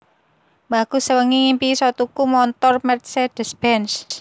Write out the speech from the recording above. Mbahku sewengi ngimpi isok tuku montor Mercedes Benz